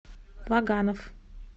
ваганов